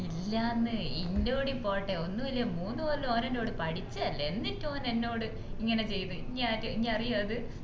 ഇല്ല ന്നു നിനറുടെ പോട്ടെ ഒന്നു ഇല്ലേ മൂന്ന് കൊല്ലം ഓൻ എന്റൂടെ പഠിച്ചതല്ലേ എന്നിറ്റ് ഓൻ എന്നോട് ഇങ്ങന ചെയ്ത് ഇഞ്ഞി അറിയുന്നോ ഇത്